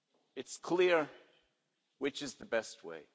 It's clear which is the best way.